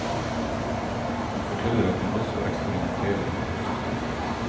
Hun forteller at hun også eksperimenterer med kosthold.